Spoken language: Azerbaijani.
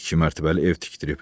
İki mərtəbəli ev tikdirib.